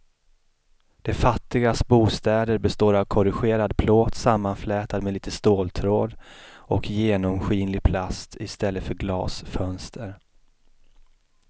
De fattigas bostäder består av korrugerad plåt sammanflätad med lite ståltråd och genomskinlig plast i stället för glasfönster.